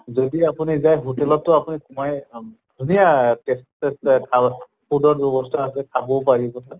যদি আপুনি যায় hotel তো আপুনি সোমাই ধুনীয়া ৰ ব্য়ৱস্থা আছে খাবও পাৰিব